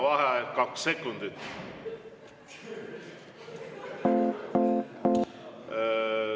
Vaheaeg kaks sekundit.